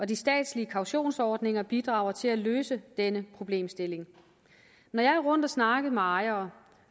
de statslige kautionsordninger bidrager til at løse denne problemstilling når jeg er rundt og snakker med ejere